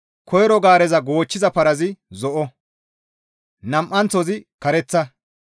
Koyro gaareza goochchiza parazi zo7o, nam7anththozi kareththa,